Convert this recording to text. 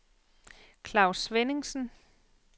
Klaus Svenningsen